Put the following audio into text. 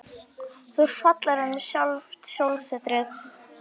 Þú ert fallegri en sjálft sólsetrið.